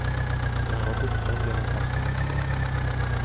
När han var sjutton blev han fast anställd.